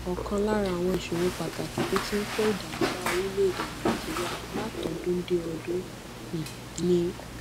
òkan lára àwọn ìṣòro pàtàkì tó ti ń kó ìdààmú bá orílèèdè nàìjíríà látọdún déọdún um ni